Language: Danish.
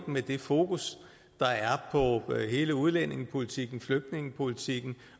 med det fokus der er på hele udlændingepolitikken flygtningepolitikken